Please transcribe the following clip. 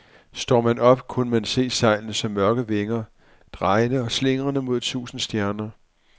Så man op, kunne man se sejlene som mørke vinger, drejende og slingrende mod tusinde stjerner.